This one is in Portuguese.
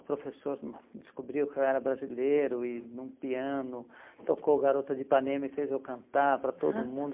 O professor hum descobriu que eu era brasileiro e num piano tocou Garota de Ipanema e fez eu cantar para todo mundo.